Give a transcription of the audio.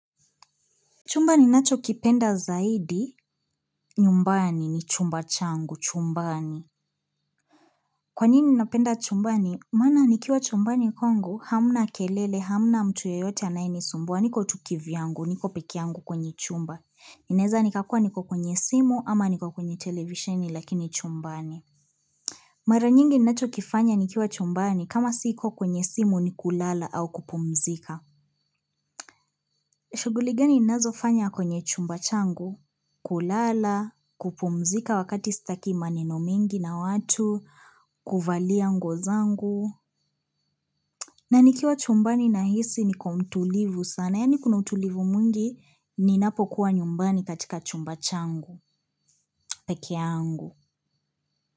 Chumba ninachokipenda zaidi, nyumbani ni chumba changu, chumbani. Kwa nini ninapenda chumbani? Maana nikiwa chumbani kwangu, hamna kelele, hamna mtu yoyote anayenisumbuwa, niko tu kivyangu, niko peke yangu kwenye chumba. Ninaeza nikakuwa niko kwenye simu, ama niko kwenye televisheni, lakini chumbani. Mara nyingi ninachokifanya nikiwa chumbani, kama siko kwenye simu ni kulala au kupumzika. Shughuli gani ninazofanya kwenye chumba changu? Kulala, kupumzika wakati sitaki maneno mingi na watu, kuvalia nguo zangu. Na nikiwa chumbani nahisi niko mtulivu sana. Yaani kuna utulivu mwingi ninapokuwa nyumbani katika chumba changu, pekee yangu.